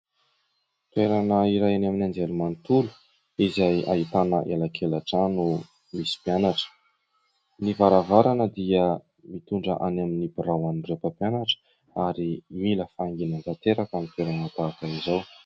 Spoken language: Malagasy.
Toerana iray eny amin'ny anjery manontolo izay ahitana elakelantrano misy mpianatra ; ny varavarana dia mitondra any amin'ny birao an'ireo mpampianatra ary mila fahanginana tanteraka ny toerana tahaka izao.